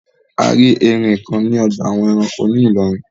A rí erin kan ní ọgbà àwọn ẹranko ní Ìlọrin.